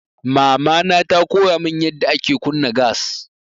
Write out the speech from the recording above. Mamana ta koya mun yanda ake kunna gas.